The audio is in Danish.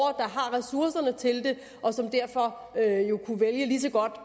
ressourcerne til det og som derfor lige så godt